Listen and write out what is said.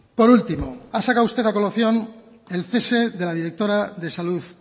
por último ha sacado usted a colación el cese de la directora de salud